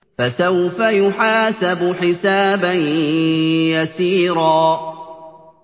فَسَوْفَ يُحَاسَبُ حِسَابًا يَسِيرًا